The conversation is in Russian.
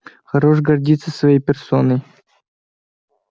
хорош гордиться своей персоной